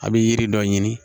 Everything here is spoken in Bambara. A bɛ yiri dɔ ɲini